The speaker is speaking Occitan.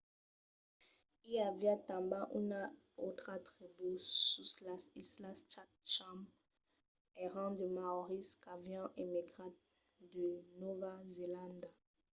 i aviá tanben una autra tribú sus las islas chatham èran de maòris qu'avián emigrat de nòva zelanda